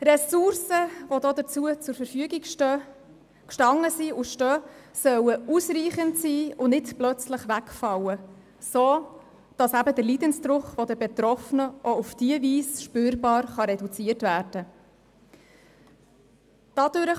Ressourcen, die dafür zur Verfügung gestanden sind und stehen, sollen ausreichend sein und nicht plötzlich wegfallen, sodass der Leidensdruck der Betroffenen auch auf diese Weise spürbar reduziert werden kann.